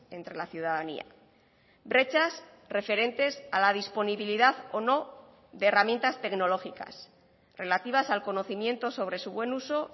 entre la ciudadanía brechas referentes a la disponibilidad o no de herramientas tecnológicas relativas al conocimiento sobre su buen uso